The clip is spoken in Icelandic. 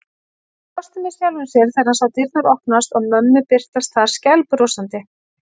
Hann brosti með sjálfum sér þegar hann sá dyrnar opnast og mömmu birtast þar skælbrosandi.